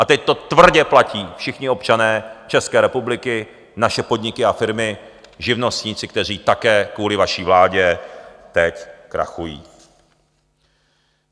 A teď to tvrdě platí všichni občané České republiky, naše podniky a firmy, živnostníci, kteří také kvůli vaší vládě teď krachují.